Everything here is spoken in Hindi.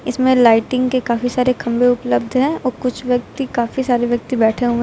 इसमें लाइटिंग के काफी सारे खंभे उपलब्ध है और कुछ व्यक्ति काफी सारे व्यक्ति बैठे हुए।